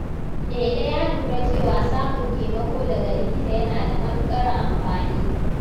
Lele ya lura cewa samun taimako daga likita yana da matukar amfani.